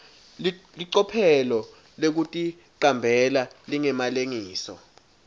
licophelo lekuticambela lingemalengiso